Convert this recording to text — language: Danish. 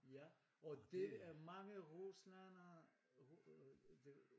Ja og det er mange ruslændere det øh